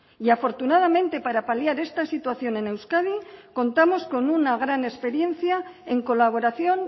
y afortunadamente para paliar esta situación en euskadi contamos con una gran experiencia en colaboración